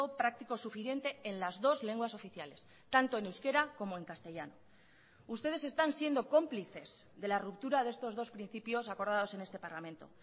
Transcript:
práctico suficiente en las dos lenguas oficiales tanto en euskera como en castellano ustedes están siendo cómplices de la ruptura de estos dos principios acordados en este parlamento